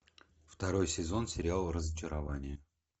второй сезон сериала разочарование